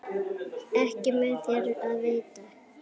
Ekki mun þér af veita.